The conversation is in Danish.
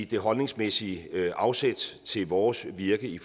det holdningsmæssige afsæt til vores virke i